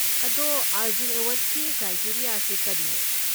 ꯑꯗꯣ ꯑꯔꯖꯨꯟ ꯑꯦꯋꯥꯔꯗꯀꯤ ꯀ꯭ꯔꯥꯏꯇꯦꯔꯤꯌꯥꯁꯤ ꯀꯔꯤꯅꯣ?